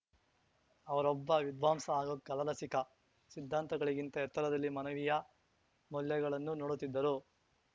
ಅವರೊಬ್ಬ ವಿದ್ವಾಂಸ ಹಾಗೂ ಕಲಾರಸಿಕ ಸಿದ್ಧಾಂತಗಳಿಗಿಂತ ಎತ್ತರದಲ್ಲಿ ಮನವೀಯ ಮೌಲ್ಯಗಳನ್ನು ನೋಡುತ್ತಿದ್ದರು